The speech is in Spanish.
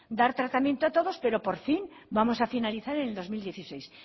dar tratamiento a todo pero por fin vamos a finalizar en el dos mil dieciséis